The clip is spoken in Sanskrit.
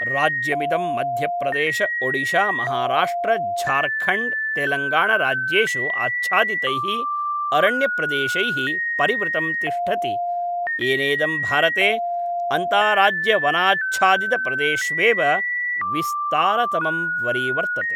राज्यमिदं मध्यप्रदेशओडिशामहाराष्ट्रझार्खण्ड् तेलङ्गाणाराज्येषु आच्छादितैः अरण्यप्रदेशैः परिवृतं तिष्ठति, येनेदं भारते अन्ताराज्यवनाच्छादितप्रदेशेष्वेव विस्तारतमं वरीवर्तते।